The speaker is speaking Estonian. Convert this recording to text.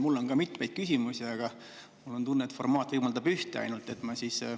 Mul on ka mitmeid küsimusi, aga mul on tunne, et formaat võimaldab ainult ühte.